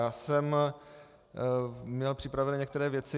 Já jsem měl připravené některé věci.